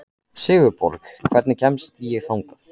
Sigurborg, hvernig kemst ég þangað?